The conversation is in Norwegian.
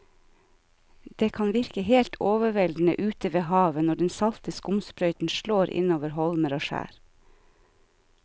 Det kan virke helt overveldende ute ved havet når den salte skumsprøyten slår innover holmer og skjær.